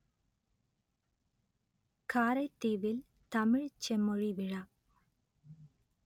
காரைதீவில் தமிழ்ச் செம்மொழி விழா